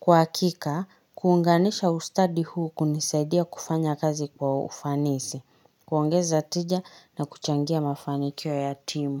Kwa hakika, kuunganisha ustadi huu kunisaidia kufanya kazi kwa ufanisi, kuongeza tija na kuchangia mafanikio ya timu.